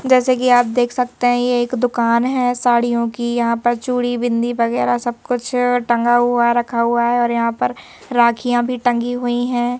जैसे कि आप देख सकते हैं ये एक दुकान है साड़ियों की यहां पर चूड़ी बिंदी वगैरह सब कुछ टंगा हुआ है रखा हुआ है और यहां पर राखियां भी टंगी हुई हैं।